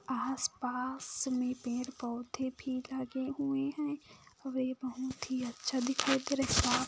आसपास में पेड़-पौधे भी लगे हुए है वे बहुत ही अच्छा दिखाई दे रहे--